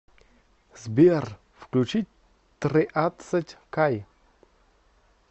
сбер включи триадцать кай